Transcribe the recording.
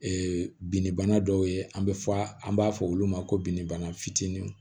Ee binnibana dɔw ye an bɛ fɔ an b'a fɔ olu ma ko binni bana fitinin